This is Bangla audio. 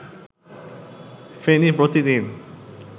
ফেনী প্রতিদিন